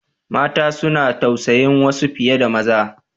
Mata suna tausayin wasu fiye da maza.